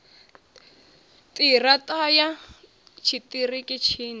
ṱira ṱa ya tshiṱiriki tshine